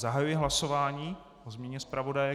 Zahajuji hlasování o změně zpravodaje.